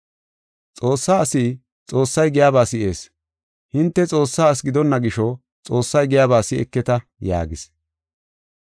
Xoossaa asi Xoossay giyaba si7ees. Hinte Xoossaa asi gidonna gisho Xoossay giyaba si7eketa” yaagis.